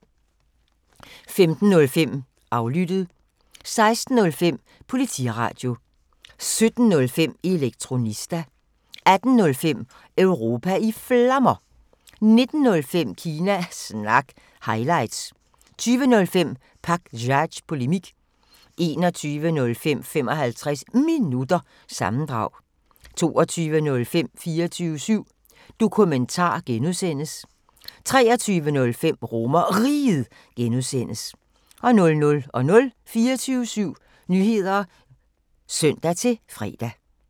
15:05: Aflyttet 16:05: Politiradio 17:05: Elektronista 18:05: Europa i Flammer 19:05: Kina Snak – highlights 20:05: Pakzads Polemik 21:05: 55 Minutter – sammendrag 22:05: 24syv Dokumentar (G) 23:05: RomerRiget (G) 00:00: 24syv Nyheder (søn-fre)